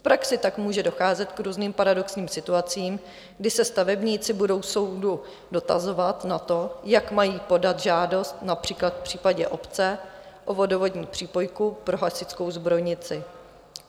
V praxi tak může docházet k různým paradoxním situacím, kdy se stavebníci budou soudu dotazovat na to, jak mají podat žádost, například v případě obce o vodovodní přípojku pro hasičskou zbrojnici.